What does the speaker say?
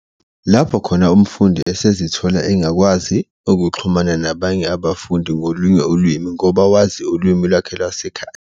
Lapho khona umfundi esezithola engakwazi ukuthi axhumane nabanye abafundi ngolunye ulimi ngoba wazi ulimi lwakhe lwasekhaya.